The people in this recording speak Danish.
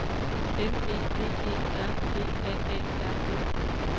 N E D E R G A A R D